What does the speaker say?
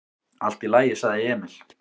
"""Allt í lagi, sagði Emil."""